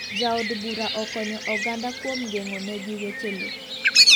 Ja od bura okonyo oganda kuom geng'o ne gi weche lo.